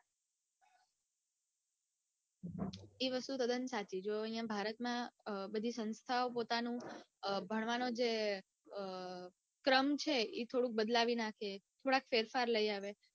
એ વસ્તુ તદ્દન સાચી છે જો અઇયા ભારતમાં બધી સંસ્થાઓ પોતાનો જે ભણવાનો જે ક્રમ છે ઈ થોડું બદલાવી નાખે થોડો ફેરફાર લઇ આવે